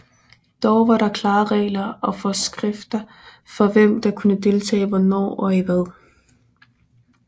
Dog var der klare regler og forskrifter for hvem der kunne deltage hvornår og i hvad